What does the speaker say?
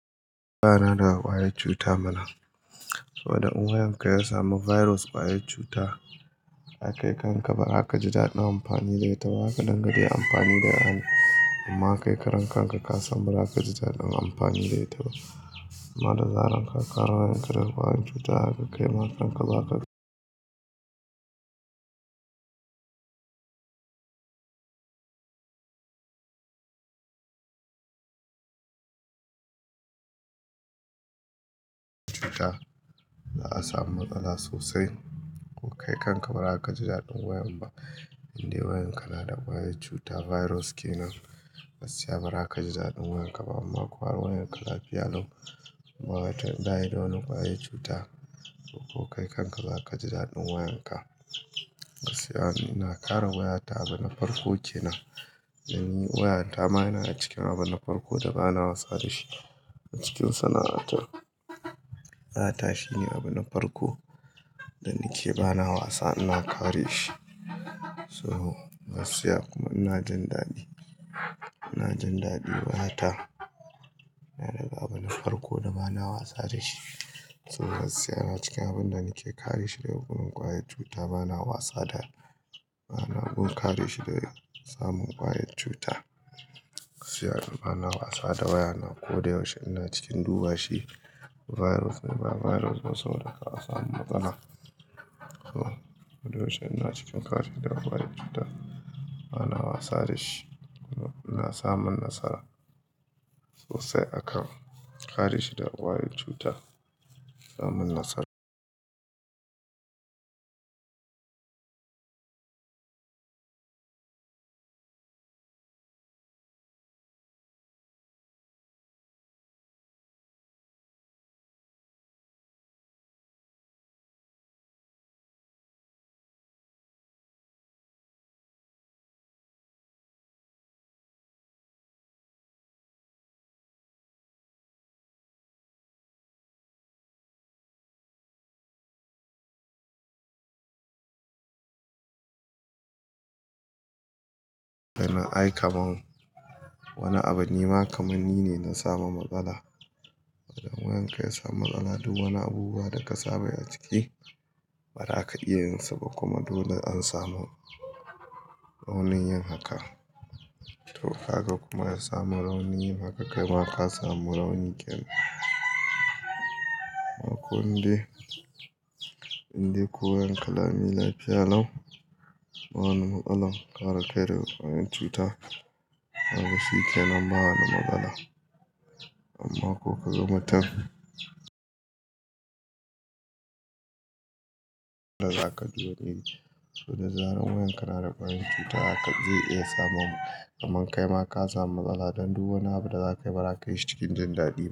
Na da kwayar cuta mana. Saboda in wayan ka ya samu virus kwayar cuta. Ai kai kan ka barakaji daɗin amfani zai taɓa haka. Dangane amfani da ɗani. Amma kai karan kanka ka san ba zaka ji daɗin amfani zai taɓa. Ammada zarar ka. Kar wayan ka da kwayar cuta haka kai ma kanka ba haka- za a samu matsala sosai. Ko kai kan ka ba zaka ji daɗin wayan ba. Inde wayan ka na da kwayar cuta virus kenan. Gaskiya ba raka ji daɗin wayan ka ba. Amma ko wayan ka lafiya lau. Ma'anar tayi ɗaya da wani kwayar cuta. Ko kai kan ka ba raka ji daɗin wayan ka. Gaskiya ina kare wayata abin na farko kenan. Dan wayata ma yana cikin abin na farko da bana wasa da shi. Cikin sana'ata. Wayata shine abin na farko da nike bana wasa ina kare shi. So gaskiya kuma ina jin daɗi. Ina jin daɗi wayata yana daga abu na farko da bana wasa da shi. So gaskiya na cikin abin da nike kare shi daga wurin kwayar cuta bana wasa da. Bana mun kare shi daga samun kwayar cuta. Gaskiya bana wasa da wayana. Ko da yaushe ina cikin duba shi. Virus ne ba virus ba. Saboda kar'a samu matsala. Ko da yaushe ina cikin kare shi daga kwayar cuta. Bana wasa da shi kuma ina samun nasara. Sosai aka kare shi daga kwayar cuta. Samun nasar- wani abu nema kamanni ne na samu matsala. In wayan ka ya samu matsala. Duk wani abubuwa da ka saba yi ciki. Ba raka iya yin saba. Kuma dole an samu raunin yin haka. To kaga kuma ya samu raunin haka kai ma ka samu raunin kenan. Amma ko inde, inde ko wayan ka lami lafiya lau. Wani matsala kare kai daga kwayar cuta. Kaga shi kenan ba wani matsala. Amma ko ka ga matan- za ka ji wani iri. So da zarar wayan ka na da kwayar cuta haka zai iya samowa. Kaman kai ma ka samu matsala. Dan duk wani abu da za ka yi ba ka yi shi cikin jin daɗi ba.